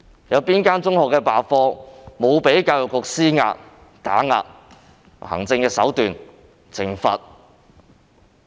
哪間中學罷課沒有被教育局施壓、打壓或用行政手段懲罰？